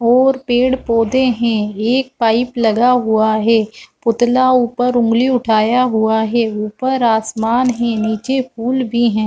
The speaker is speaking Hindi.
और पेड़ पौधे है एक पाइप लगा हुआ है पुतला ऊपर ऊँगली उठाया हुआ है ऊपर आसमान है नीचे पूल भी है।